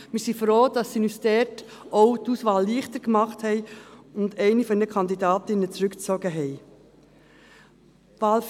Wir sind froh, dass sie uns dort auch die Auswahl leichter gemacht und eine der Kandidatinnen zurückgezogen haben.